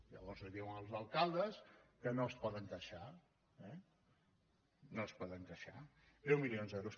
llavors diuen als alcaldes que no es poden queixar eh no es poden queixar deu milions d’euros